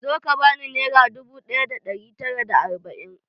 Zo ka bani nera dubu ɗaya da ɗari tara da arba'in!